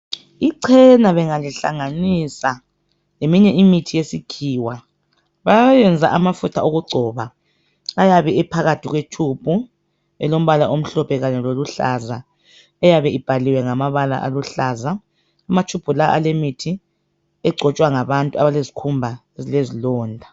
Ichena bengalihlanganisa leminye imithi yesikhiwa liyayenza amafutha okugcoba ayabe ephakathi kwe tshubhu elombala omhlophe kanye loluhlaza eyabe ibhaliwe ngamabala aluhlaza. Amatshubhu lawa ale mithi egcotshwa ngabantu abalezikhumba ezilezilonda.